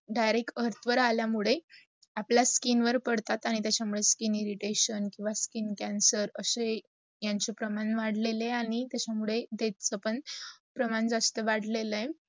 direct earth वार आल्या मुडे आपला skin वर पडतात आणी त्याचा मुडे skin irritation किव्वा skin cancer अशे यांचे प्रामर वाढलेलं आहेणी त्याचा मुडे जस पण प्रमाण जास्त वाढलेला आहेत.